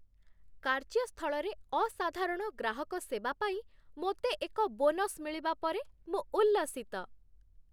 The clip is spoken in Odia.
କାର୍ଯ୍ୟ ସ୍ଥଳରେ ଅସାଧାରଣ ଗ୍ରାହକ ସେବା ପାଇଁ ମୋତେ ଏକ ବୋନସ ମିଳିବା ପରେ ମୁଁ ଉଲ୍ଲସିତ।